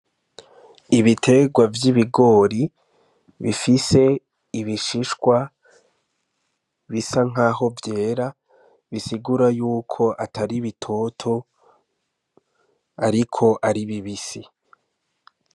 Ibiterwa vy'ibigori bifise ibishishwa bisa nk'aho vyera bisigura yuko atari bitoto, ariko ari bibisi.